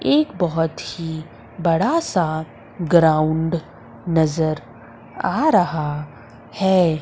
एक बहोत ही बड़ा सा ग्राउंड नजर आ रहा हैं।